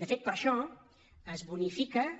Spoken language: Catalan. de fet per això es bonifiquen